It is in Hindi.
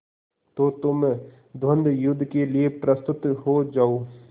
तो तुम द्वंद्वयुद्ध के लिए प्रस्तुत हो जाओ